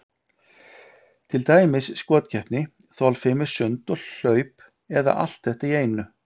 Til dæmis skotkeppni, þolfimi, sund, hlaup eða allt þetta í einu.